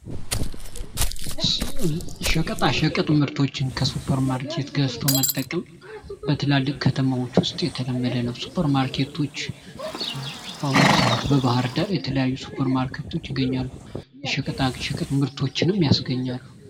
ሸቀጣሸቀጥ ምሮቶችን ከሱፐር ማርኬት ገዝቶ መጠቀም በትላልቅ ከተማዎች ውስጥ የተለመደ ነው። ሱፐር ማርኬቶች በአሁኑ ሰዓት በባህር ዳር የተለያዩ ሱፐር ማርኬቶች ይገኛሉ። የሸቀጣሸቀጥ ምርቶችንም ያስገኛሉ።